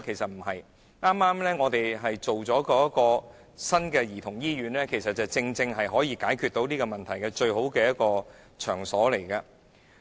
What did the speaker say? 政府正在興建新的兒童醫院，這正是可以解決這項問題的最佳場所。